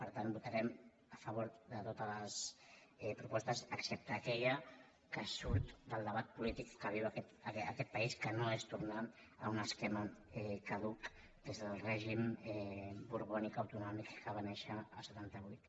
per tant votarem a favor de totes les propostes excep·te d’aquella que surt del debat polític que viu aquest país que no és tornar a un esquema caduc que és el règim borbònic autonòmic que va néixer el setanta vuit